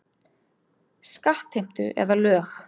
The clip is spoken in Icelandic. Skattheimtu eða lög.